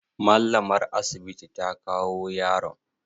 Mallamar asibiti ta kawo yaron?